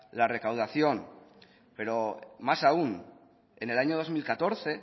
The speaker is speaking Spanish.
la recaudación pero más aún en el año dos mil catorce